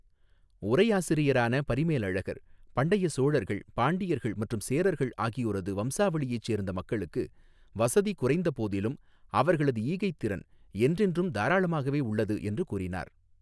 உரையாசிரியரான பரிமேலழகர் 'பண்டைய சோழர்கள், பாண்டியர்கள் மற்றும் சேரர்கள் ஆகியோரது வம்சாவளியைச் சேர்ந்த மக்களுக்கு வசதி குறைந்த போதிலும் அவர்களது ஈகைத் திறன் என்றென்றும் தாராளமாகவே உள்ளது' என்று கூறினார்.